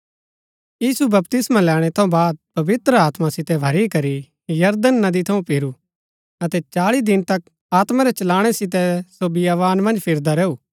यीशु बपतिस्मा लैणै थऊँ बाद पवित्र आत्मा सितै भरी करी यरदन नदी थऊँ फिरू अतै चाळी दिन तक आत्मा रै चलाणै सितै सो बियावान मन्ज फिरदा रैऊ